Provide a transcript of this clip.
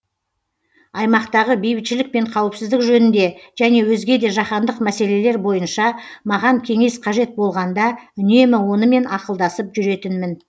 аймақтағы бейбітшілік пен қауіпсіздік жөнінде және өзге де жаһандық мәселелер бойынша маған кеңес қажет болғанда үнемі онымен ақылдасып жүретінмін